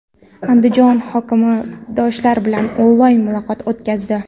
Andijon hokimi yoshlar bilan onlayn muloqot o‘tkazdi.